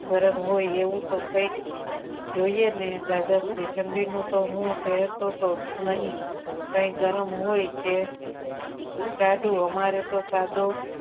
ગરમ હોય એવું તો કંઈક જોઈએ ને દાદાશ્રી ઠંડીનું તો હું પહેરતો જ નહીં કઈ ગરમ હોય કે ટાઢું હોય અમારે તો સાદુ